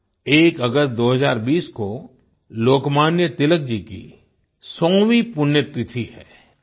1 अगस्त 2020 को लोकमान्य तिलक जी की 100वीं पुण्यतिथि है